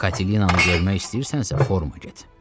Katilinanaı görmək istəyirsənsə foruma get.